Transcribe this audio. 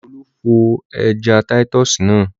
Olú fọ ẹja títọ́sì náà.